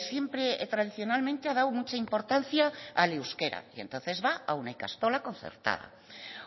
siempre tradicionalmente ha dado mucha importancia al euskera y entonces va a una ikastola concertada